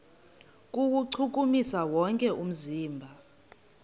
kuwuchukumisa wonke umzimba